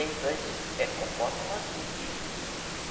Elas é conforme o nosso dia.